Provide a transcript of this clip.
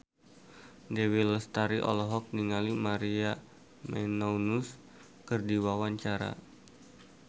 Dewi Lestari olohok ningali Maria Menounos keur diwawancara